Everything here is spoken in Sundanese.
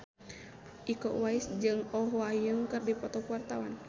Iko Uwais jeung Oh Ha Young keur dipoto ku wartawan